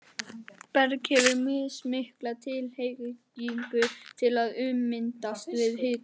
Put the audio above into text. Berg hefur mismikla tilhneigingu til að ummyndast við hita.